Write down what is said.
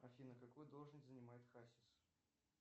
афина какую должность занимает хасис